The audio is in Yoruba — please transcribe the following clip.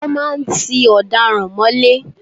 Wọ́n máa ń tí ọ̀daràn mọ́lé.